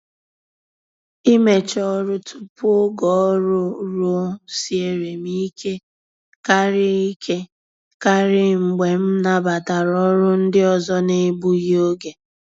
Imecha ọrụ tupu oge ọrụ ruo siere m ike karị ike karị mgbe m nabatara ọrụ ndị ọzọ n'egbughi oge.